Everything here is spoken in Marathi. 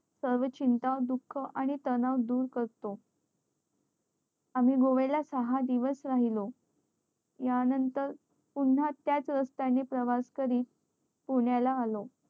सर्व चिंता दुःख आणि तणाव दूर करतो आम्ही गोव्या ला सहा दिवस राहिलो या नंतर पुन्हा त्याच रस्त्या नि प्रवास करीत पुण्या ला आलो